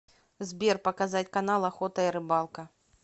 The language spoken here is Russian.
сбер показать канал охота и рыбалка